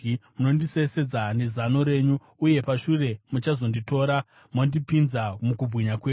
Munondisesedza nezano renyu, uye pashure muchazonditora mondipinza mukubwinya kwenyu.